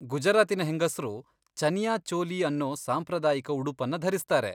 ಗುಜರಾತಿನ ಹೆಂಗಸ್ರು ಚನಿಯಾ ಚೋಲಿ ಅನ್ನೋ ಸಾಂಪ್ರದಾಯಿಕ ಉಡುಪನ್ನ ಧರಿಸ್ತಾರೆ.